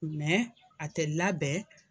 a tɛ labɛn.